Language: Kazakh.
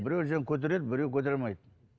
біреу көтереді біреу көтере алмайды